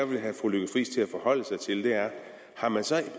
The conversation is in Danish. vil have fru lykke friis til at forholde sig til er har man så